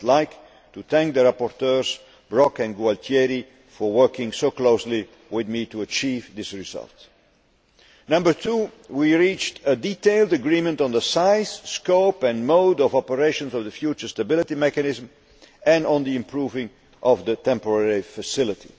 I would like to thank the rapporteurs, Mr Brok and Mr Gualtieri, for working so closely with me to achieve this result. Number two we reached a detailed agreement on the size, scope and mode of operation for the future Stability Mechanism and on improving the temporary facility.